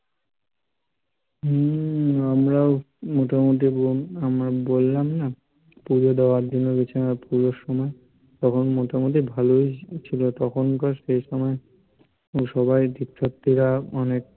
হম আমরাও মোটামুটি আমরা বললাম না পূজো দেওয়ার জন্য গেছিলাম পূজোর সময়, তখন মোটামোটি ভালোই ছিলো তখনকার সেইসময় সবাই তীর্থার্থিরা অনেক